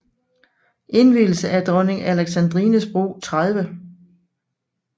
Indvielse af Dronning Alexandrines Bro 30